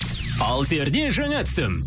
алсерде жаңа түсім